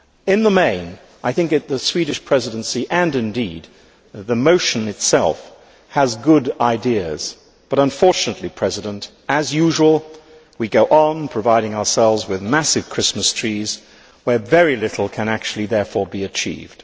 In the main, I think the Swedish Presidency, and indeed the motion itself, have good ideas, but unfortunately, as usual, we go on providing ourselves with massive Christmas trees where very little can actually, therefore, be achieved.